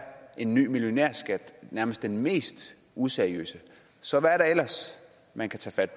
en ny millionærskat nærmest den mest useriøse så hvad er der ellers man kan tage fat